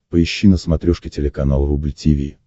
поищи на смотрешке телеканал рубль ти ви